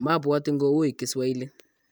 mabwoti ngo ui kiswahili